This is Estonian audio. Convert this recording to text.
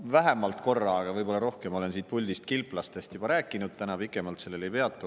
Ma vähemalt korra, aga võib-olla rohkem olen siit puldist kilplastest juba rääkinud, täna pikemalt sellel ei peatu.